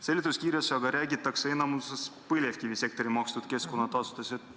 Seletuskirjas aga räägitakse enamikus põlevkivisektori makstud keskkonnatasudest.